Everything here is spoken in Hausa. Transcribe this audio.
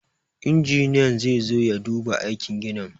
Injiniyan zai zo ya duba aikin ginin.